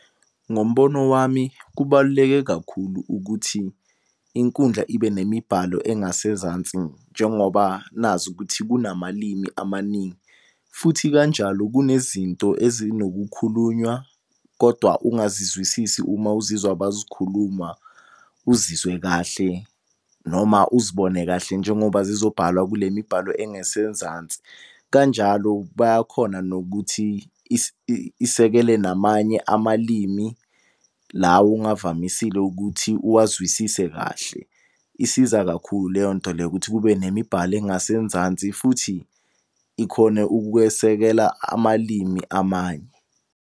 Ngombono wami kubaluleke kakhulu ukuthi inkundla ibe nemibhalo engasezansi njengoba nazi ukuthi kunamalimi amaningi. Futhi kanjalo kunezinto ezinokukhulunywa kodwa ungazizwisisi uma uzizwa bazikhuluma, uzizwe kahle noma uzibone kahle njengoba zizobhalwa kule mibhalo engase nzansi. Kanjalo bayakhona nokuthi isekele namanye amalimi lawo ongavamisile ukuthi uwazwisise kahle. Isiza kakhulu leyonto leyo, ukuthi kube nemibhalo engase nzansi futhi ikhone ukukwesekela amalimi amanye.